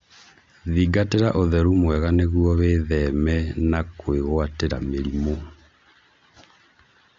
Thingatĩra ũtheru mwega nĩguo wĩtheme na kũigwatĩra mũrimũ